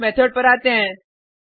अब इस मेथड पर आते हैं